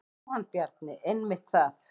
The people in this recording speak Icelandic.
Jóhann Bjarni: Einmitt það.